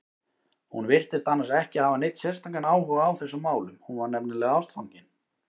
Hún virtist annars ekki hafa neinn sérstakan áhuga á þessum málum, hún var nefnilega ástfangin.